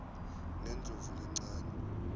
ngendlovulencane